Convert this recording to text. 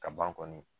Ka ban kɔni